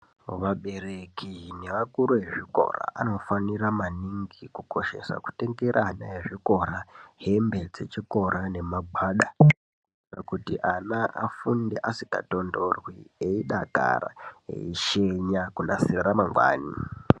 Vabereki neakuru nezvikora anofanirwa maningi kukoshesa kutengera ana ezvikora hembe dzechikora nemagwada kuti ana afunde asikatonhorwi eidakara eishenya kunasire ramangwani.